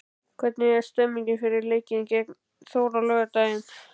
Hvernig er stemningin fyrir leikinn gegn Þór á laugardag?